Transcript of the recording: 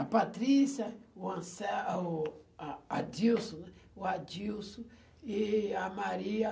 A Patrícia, o Anse eh o o a Adilson, né, o Adilson e a Maria.